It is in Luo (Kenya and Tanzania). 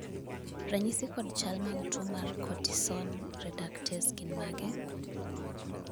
ranyisi kod chal mag tuo mar Cortisone reductase gin mage?